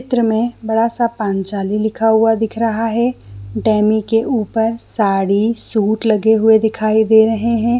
चित्र में बड़ा सा पांचाली लिखा हुआ दिख रहा है डैमी के ऊपर साड़ी सूट लगे हुए दिखाई दे रहै है।